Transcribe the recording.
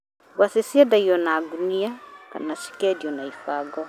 Ngwacĩ ciendagio na ngũnia kana cikendio na ibango.